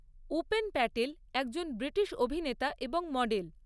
উপেন প্যাটেল একজন ব্রিটিশ অভিনেতা এবং মডেল।